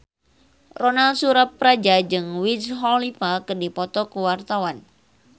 Ronal Surapradja jeung Wiz Khalifa keur dipoto ku wartawan